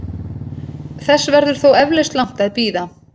Þess verður þó eflaust langt að bíða.